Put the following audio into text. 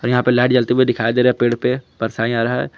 यहां पे लाइट जलते हुए दिखाई दे रहा पेड़ पे परछाई आ रहा है।